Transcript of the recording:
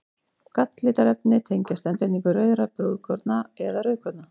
Galllitarefni tengjast endurnýtingu rauðra blóðkorna eða rauðkorna.